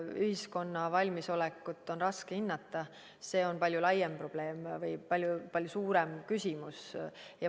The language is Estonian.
Ühiskonna valmisolekut on raske hinnata, see on palju laiem probleem või palju suurem küsimus.